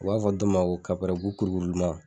U b'a fɔ dɔ ma ko kapɛrɛn bu kurukuruman